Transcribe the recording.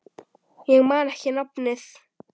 Ég man ekki nafnið.